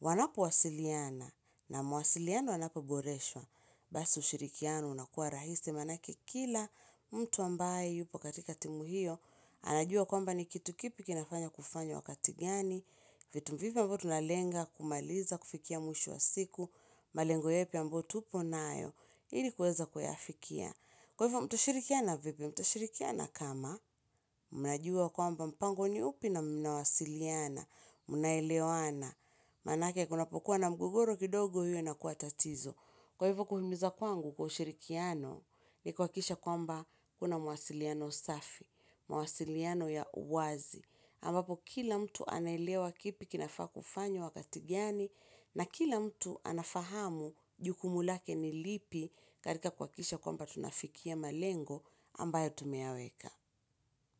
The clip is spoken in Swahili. Wanapo wasiliana na mawasiliano yanapo boreshwa. Basi ushirikiano unakua rahisi maanake kila mtu ambaye yupo katika timu hiyo. Anajua kwamba ni kitu kipi kinafanya kufanywa wakati gani. Vitu vipi ambavyo tunalenga, kumaliza, kufikia mwisho wa siku. Malengo yapi ambayo tuko nayo. Ili kuweza kuyafikia. Kwa hivyo mtashirikiana vipi?, mtashirikiana kama, mnajua kwamba mpango ni upi na mnawasiliana, mnaelewana, maanake kunapokuwa na mgogoro kidogo hiyo ina kuatatizo. Kwa hivyo kuhimiza kwangu kwa ushirikiano, ni kuhakikisha kwamba kuna mawasiliano safi, mawasiliano ya uwazi. Ambapo kila mtu anaelewa kipi kinafaa kufanywa wakati gani na kila mtu anafahamu jukumu lake ni lipi katika kuhakikisha kwamba tunafikia malengo ambayo tumeyaweka.